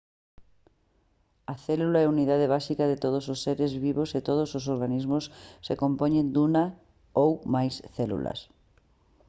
a célula é a unidade básica de todos os seres vivos e todos os organismos se compoñen dunha ou máis células